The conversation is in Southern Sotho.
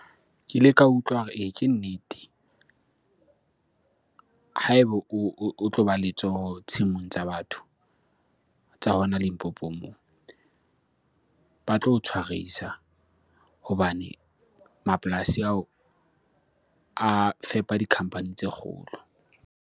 Ke ile ka utlwa hore ee, ke nnete. Ha ebo o tloba letsoho tshimong tsa batho, tsa hona Limpopo moo ba tlo o tshwarisa. Hobane mapolasi ao a fepa di-company tse kgolo.